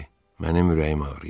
Mənim ürəyim ağrıyır.